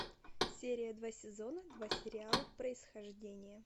серия два сезона два сериала происхождение